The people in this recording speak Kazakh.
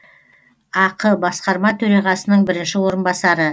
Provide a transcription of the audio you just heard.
ақ басқарма төрағасының бірінші орынбасары